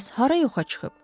Bəs hara yoxa çıxıb?